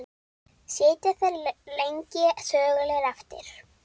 Sitja þeir lengi þögulir eftir.